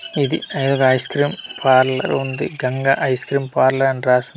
ఇది ఒక ice cream parlour ఉంది గంగ ఐస్ క్రీమ్ పార్లర్ అని రాసి ఉంది .